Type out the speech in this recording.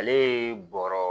Ale ye bɔrɔ